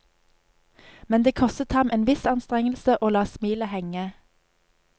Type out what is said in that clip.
Men det kostet ham en viss anstrengelse å la smilet henge.